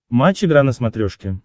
матч игра на смотрешке